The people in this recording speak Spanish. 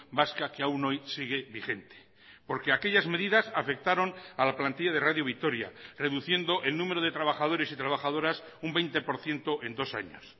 vasca que aún hoy sigue vigente porque aquellas medidas afectaron a la plantilla de radio vitoria reduciendo el número de trabajadores y trabajadoras un veinte por ciento en dos años